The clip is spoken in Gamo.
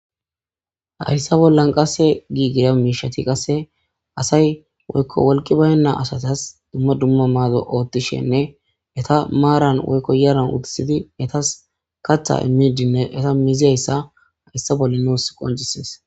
hayssa bollan qase giigira miishati qasse asay woykko wolqi baynna asatas dumma dumma maado oothtishenne eta maaran woykko yaran utisidi etas kachtha immidinne eta mizyayssa hayssa bolla nuus qoncisees